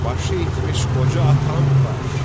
Başı itmiş qoca atam var.